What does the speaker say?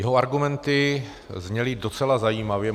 Jeho argumenty zněly docela zajímavě.